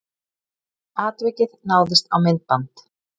Atvikið náðist á myndband